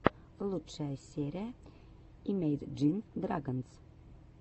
лучшая серия имейджин драгонс